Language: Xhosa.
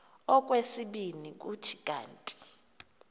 okwesibini kuthi kanti